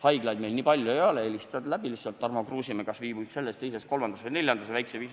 Haiglaid meil nii palju ei ole, helistad need lihtsalt läbi: kas Tarmo Kruusimäe viibib selles, teises, kolmandas või neljandas haiglas?